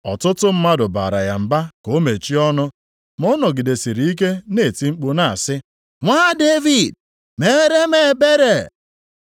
Ọtụtụ mmadụ bara ya mba ka o mechie ọnụ. Ma ọ nọgidesịrị ike na-eti mkpu na-asị, “Nwa Devid, meere m ebere!”